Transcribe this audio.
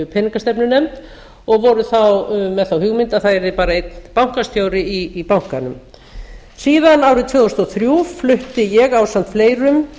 peningastefnunefnd og voru þá með þá hugmynd að það yrði bara einn bankastjóri í bankanum árið tvö þúsund og þrjú flutti ég ásamt fleirum